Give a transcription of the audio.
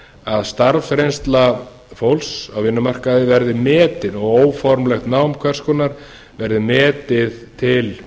að starfsreynsla fólks á vinnumarkaði verði metin og óformlegt nám hvers konar verði metið til